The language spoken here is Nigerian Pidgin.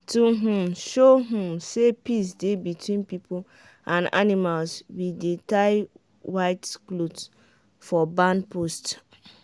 to um show um say peace dey between people and animals we dey tie white cloth for barn post.